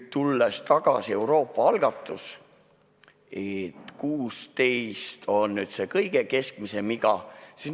Tulen tagasi Euroopa algatuse juurde, et 16 aastat on see kõige keskmisem iga.